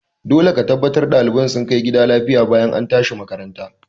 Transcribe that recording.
Dole ka tabbata ɗaliban sun kai gida lafiya bayan an tashi makaranta!